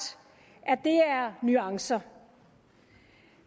at det er nuancer